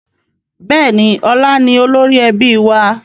Bẹ́ẹ̀ni, ọlá ni olórí ẹbí wa